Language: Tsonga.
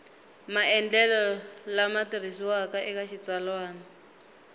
maendlelo lama tirhisiwaka eka xitsalwana